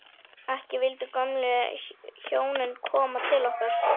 Ekki vildu gömlu hjónin koma til okkar.